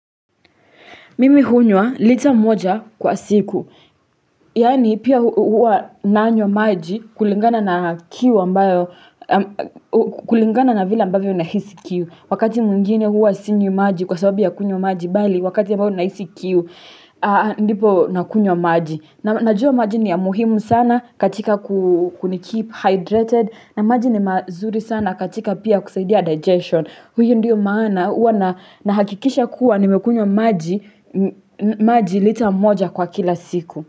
Mimi hunywa, lita moja kwa siku, yaani pia huwa nanywa maji kulingana na kiu ambayo, kulingana na vile ambayo na hisi kiu. Wakati mwingine huwa sinywi maji kwa sababu ya kunywa maji, bali wakati ambayo na hisi kiu, ndipo na kunywa maji. Najua maji ni ya muhimu sana katika kuni keep hydrated, na maji ni mazuri sana katika pia kusaidia digestion. Huyo ndiyo maana huwa na hakikisha kuwa nimekunywa maji lita mmoja kwa kila siku.